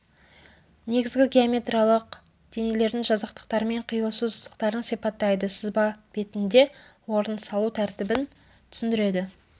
негізгі геометриялық денелердің жазықтықтармен қиылысу сызықтарын сипаттайды сызба батінде олардың салу тәртібін түсіндіреді